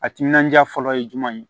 A timinandiya fɔlɔ ye jumɛn ye